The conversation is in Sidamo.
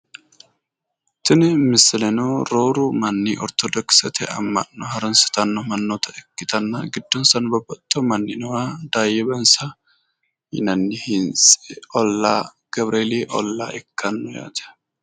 tini misileno rooru manni ortodokisete amma'no harunsitanno mannata ikkitanna giddonsano babaxino manni nooha daayye bansa yinanni hintsi nooha oollaa gawureeli ollaa ikkanno yaate.